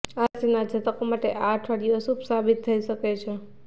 આ રાશિના જાતકો માટે આ અઠવાડિયું અશુભ સાબિત થઇ શકે છે